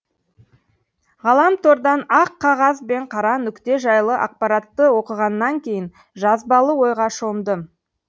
ғаламтордан ақ қағаз бен қара нүкте жайлы ақпаратты оқығаннан кейін жазбалы ойға шомдым